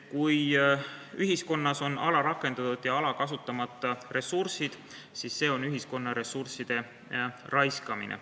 Kui ühiskonnas on alarakendatud ja kasutamata ressursid, siis see on ühiskonna ressursside raiskamine.